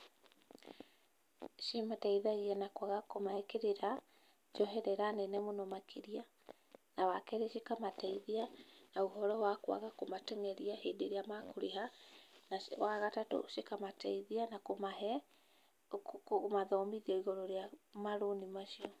Cimateithagia na kwaga kũmahe kĩrĩra, njoherera nene mũno makĩria, na wa kerĩ cikamateithia na ũhoro wa kũaga kũmateng'eria hĩndĩ ĩrĩa makũrĩha, na wa gatatũ cikamateithia na kũmahe, kũmathomithia igũrũ rĩa marũni macio.